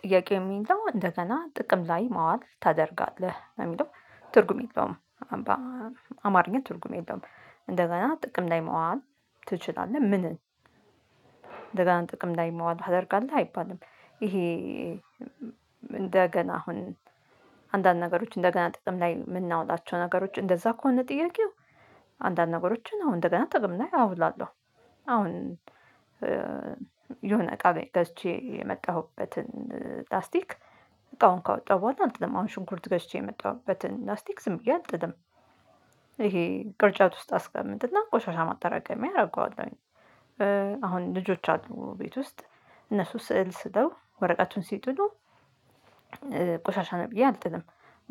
ጥያቄ ሚለው እንደገና ጥቅም ላይ ማዋል ታደርጋለህ ነው የሚለው ትርጉም የለውም። አማርኛ ትርጉም የለውም። እንደገና ጥቅም ላይ ማዋል ትችላለህ? ምንን ጥቅም ላይ ማዋል ታደርጋለህ አይባልም። ይሄ እንደገና አሁን አንዳንድ ነገሮች እንደገና ጥቅም ላይ ምናውላቸው ነገሮች እንደዛ ከሆነ ጥያቄው አንዳንድ ነገሮችን አሁን እንደገና ጥቅም ላይ አውላለሁ። አሁን የሆነ እቃ ገዝቼ የመጣሁበትን ላስቲክ እቃውን ካወጣሁ በኋላ አልጥልም አሁን ሽንኩርት ገዥቼ ያመጣሁበትን ላስቲክ ዝም ብዬ አልጥልም። ይሄ ቅርጫት ውስጥ አስቀምጥ እና ቆሻሻ ማጠራቀሚያ አደርገዋለሁኝ። አሁን ልጆች አሉ ቤት ውስጥ እነሱ ስዕል ስለው ወረቀቱን ሲጥሉ። ቆሻሻ ነው ብዬ አልጥልም።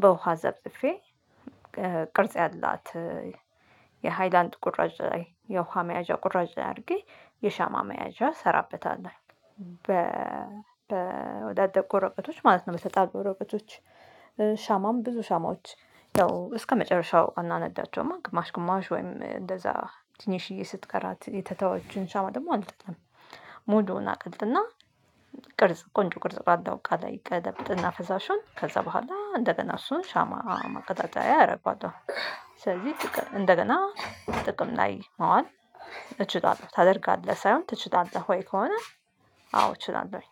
በውሃ ዘፍዝፌ ቅርጽ ያላት የሃይላንድ ቁራጭ ላይ የውሃ መያዣ ቁራጭ ላይ አድርጌ የሻማ መያዣ እሰራበታለሁ። በወዳደቁ ወረቀቶች ማለት ነው በተጣሉ ወረቀቶች። ሻማም ብዙ ሻማዎች ያው እስከመጨረሻው አናነዳቸውም ግማሽ ግማሽ ወይም እንደዛ ትንሽዬ ስትቀራት የተተወችውን ሰው ደግሞ አልጠጣም። ሙሉውን አቀልጥ እና ቅርጽ ቆንጆ ቅርጽ ቆንጆ ባለው እቃ ላይ እገለብጥና ፈሳሹን ከዛ በኋላ እንደገና እሱን ሻማ ማቀጣጠያ አረገዋለሁ። ስለዚህ እንደገና ጥቅም ላይ መዋል እችላለሁ ታደርጋለህ ሳይሆን ትችላለህ ወይ? ከሆነ አዎ እችላለሁኝ